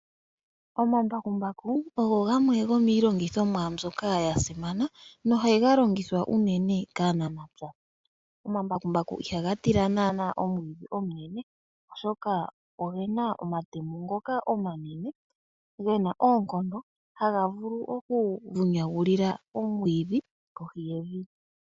Omambakumbaku ogo gamwe gomiilongithomwa mbyoka ya simana, nohaga longithwa kaanafaalama. Omambakumbaku ihaga tila naana omwiidhi omunene, oshoka ogena omatemo ngoka omanene, gena oonkondo nohaga vulu okuvunyagulila omwiidhi kohi yevi.